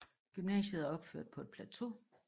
Gymnasiet er opført på et plateau